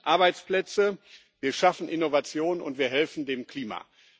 Wir schützen Arbeitsplätze, wir schaffen Innovation, und wir helfen dem Klima.